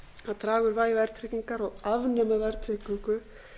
að draga úr vægi verðtryggingar og afnema verðtryggingu